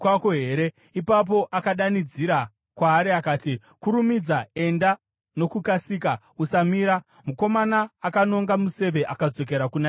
Ipapo akadanidzira kwaari akati, “Kurumidza! Enda nokukasika! Usamira!” Mukomana akanonga museve akadzokera kuna tenzi wake.